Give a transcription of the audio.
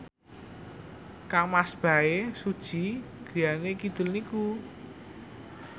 kangmas Bae Su Ji griyane kidul niku